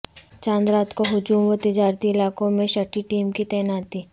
چاند رات کو ہجوم و تجارتی علاقوں میں شٹی ٹیم کی تعیناتی